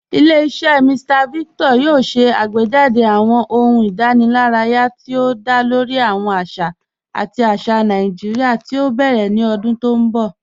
Ilẹ̀-iṣẹ Mr Victor yoo ṣè àgbéjádé̀ awọn ọ̀hùn ìdànìláraya ti o dá lórí awọn àṣà àti àṣà Naijiria ti o bẹrẹ̀ ni ọ̀dún ti n bọ̀.